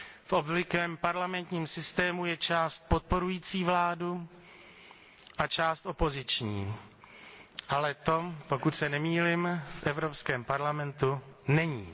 V obvyklém parlamentním systému je část podporující vládu a část opoziční, ale to, pokud se nemýlím, v Evropském parlamentu není.